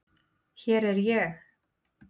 Hér er ég!!